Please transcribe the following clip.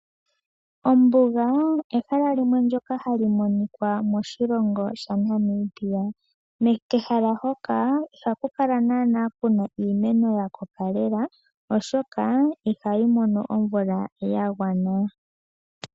Ombuga ehala limwe ndyoka halo monika moshilongo shaNamibia. Kehala hoka ihaku kala iimeno ya koka lela oshoka ihali mono omvula yagwana.